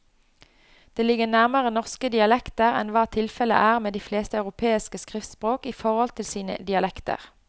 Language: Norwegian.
Det ligger nærmere norske dialekter enn hva tilfellet er med de fleste europeiske skriftspråk i forhold til sine dialekter.